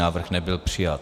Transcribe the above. Návrh nebyl přijat.